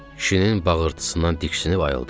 Kişinin bağırtısından diksinib ayıldım.